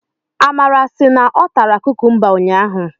Amara sị na ọ tara kukumba ụnyaahụ.